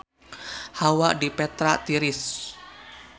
Hawa di Petra tiris